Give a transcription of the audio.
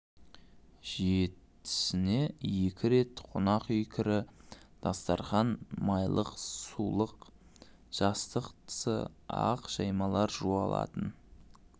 жетісіне екі рет қонақ үй кірі дастарқан майлық-сулық жастық тысы ақ жаймалар жуылатын